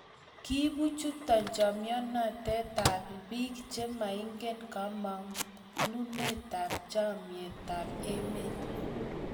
kiibu chuto chemoitnotetab biik che maingen kamanutab chametab emet.